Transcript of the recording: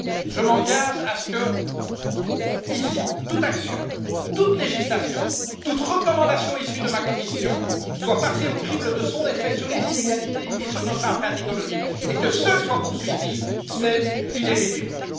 Je m'engage à ce que, ici, toute action, toute législation, toute recommandation issue de ma Commission soit passée au crible de son effet sur les inégalités et sur notre empreinte écologique et à ce que seules soient poursuivies celles qui les réduiront.